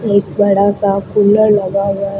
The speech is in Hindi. एक बड़ा सा कूलर लगा हुआ है।